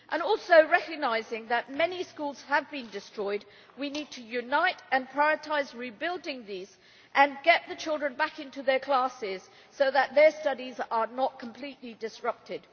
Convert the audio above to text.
Also, recognising that many schools have been destroyed, we need to unite and to prioritise rebuilding these schools and getting the children back into their classes so that their studies are not completely disrupted.